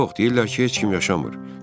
Yox, deyirlər ki, heç kim yaşamır.